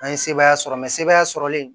An ye sebaaya sɔrɔ mɛya sɔrɔlen